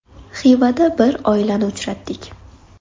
Xivada bir oilani uchratdik.